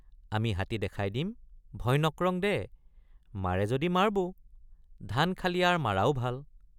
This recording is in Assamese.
আমি হাতী দেখাই দিমভয় নক্ৰং দে মাৰে যদি মাৰবো ধান খালি আৰ মাৰাও ভাল।